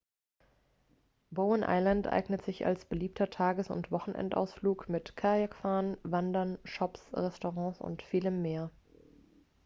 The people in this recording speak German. bowen island eignet sich als beliebter tages oder wochenendausflug mit kajakfahren wandern shops restaurants und vielem mehr